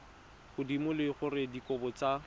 godimo le gore dikarabo tsa